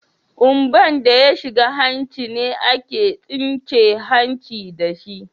Kumba'n da ya shiga hanci ne ake tsince hancin da shi.